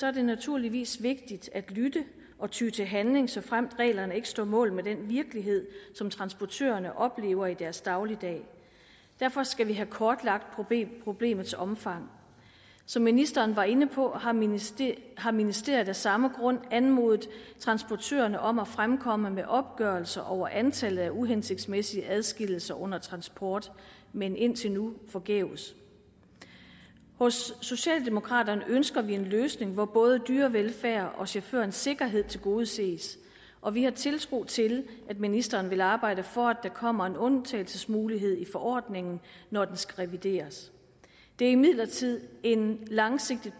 er det naturligvis vigtigt at lytte og ty til handling såfremt reglerne ikke står mål med den virkelighed som transportørerne oplever i deres dagligdag derfor skal vi have kortlagt problemets omfang som ministeren var inde på har ministeriet har ministeriet af samme grund anmodet transportørerne om at fremkomme med opgørelser over antallet af uhensigtsmæssige adskillelser under transport men indtil nu forgæves hos socialdemokraterne ønsker vi en løsning hvor både dyrevelfærd og chaufførernes sikkerhed tilgodeses og vi har tiltro til at ministeren vil arbejde for at der kommer en undtagelsesmulighed i forordningen når den skal revideres det er imidlertid en langvarig